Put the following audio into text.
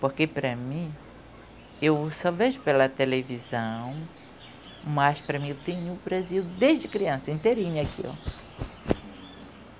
Porque, para mim, eu só vejo pela televisão, mas, para mim, eu tenho o Brasil desde criança, inteirinha aqui ó.